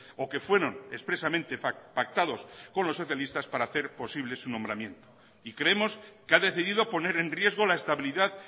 o que fueron expresamente pactados con los socialistas para hacer posible su nombramiento y creemos que ha decidido poner en riesgo la estabilidad